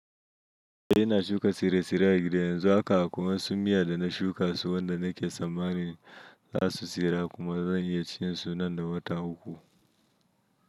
Eh ina shuka tsire-tsire a gida yanzu haka akwai wasu miya da na shuka su wanda nake tsammanin za su tsira kuma zan iya cin su nan da wata uku.